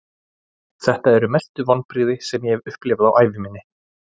Þetta eru mestu vonbrigði sem ég hef upplifað á ævi minni.